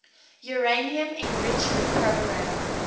uranium enrichment program